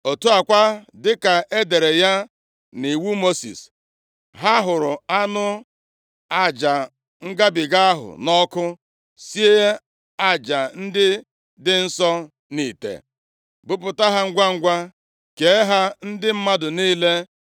Otu a kwa, dịka e dere ya nʼiwu Mosis, ha hụrụ anụ aja ngabiga ahụ nʼọkụ, sie aja ndị dị nsọ nʼite, buputa ha ngwangwa kee ha ndị mmadụ niile.